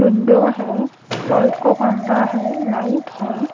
Window है light का खंभा है लाइट है।